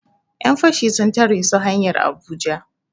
Yan fashi sun tare su hanyar Abuja